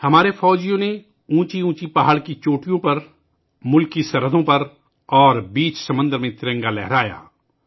ہمارے سپاہیوں نے اونچے اونچے پہاڑوں کی چوٹیوں پر، ملک کی سرحدوں پر اور سمندر کے بیچ ترنگا لہرایا